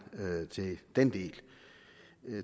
til den del